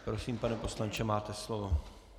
Prosím, pane poslanče, máte slovo.